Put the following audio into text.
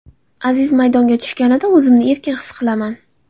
Aziz maydonga tushganida, o‘zimni erkin his qilaman.